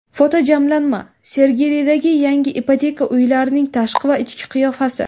Fotojamlanma: Sergelidagi yangi ipoteka uylarining tashqi va ichki qiyofasi .